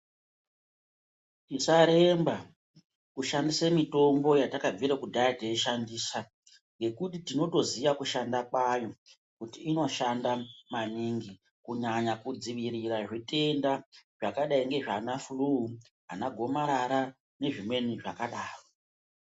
Tisaremba kushandisa mitombo yatakabvira kudyaya teishandisa ngekuti tinotoziya kshanda kwayo kuti inoshanda maningi kunyanya kudzivirira zvitenda zvakadai nezvana furu nanagomarara nezvimweni zvakadaro.